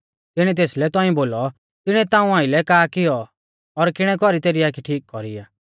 तिंउऐ तेसलै तौंइऐ बोलौ तिणीऐ ताऊं आइलै का किऔ और किणै कौरी तेरी आखी ठीक कौरी आ